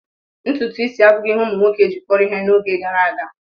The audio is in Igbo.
Ntutu isi abụghị ihe ụmụ nwoke gị kpọrọ ihe n'oge gara aga.